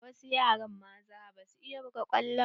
Wasu yara maza ba su iya buga kwallo ba.